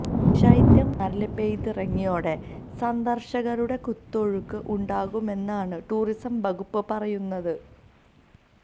ശൈത്യം മൂന്നാറില് പെയ്തിറങ്ങിയോതെടെ സന്ദര്ശകരുടെ കുത്തൊഴുക്ക് ഉണ്ടാകുമെന്നാണ് ടൂറിസം വകുപ്പ് പറയുന്നത്